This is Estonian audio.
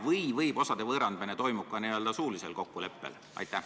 Või võib osade võõrandamine toimuda ka n-ö suulisel kokkuleppel?